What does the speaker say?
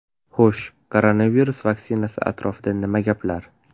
Xo‘sh, koronavirus vaksinasi atrofida nima gaplar?